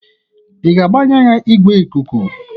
ị ga-agbanye igwe ikuku?